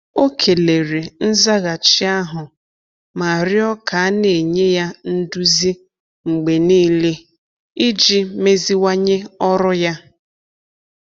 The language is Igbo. Ọ kelere nzaghachi ahụ ma rịọ ka a na-enye ya nduzi mgbe niile iji meziwanye ọrụ ya.